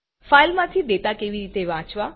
ફાઈલમાંથી data કેવી રીતે વાંચવા